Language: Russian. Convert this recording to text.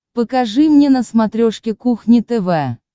покажи мне на смотрешке кухня тв